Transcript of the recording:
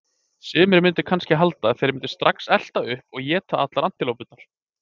Sumir mundu kannski halda að þeir mundu strax elta uppi og éta allar antilópurnar.